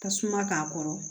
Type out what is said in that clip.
Tasuma k'a kɔrɔ